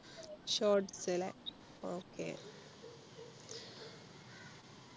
shorts അല്ലെ okay